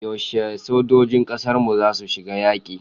Yaushe sojojin kasarmu zasu shiga yaki?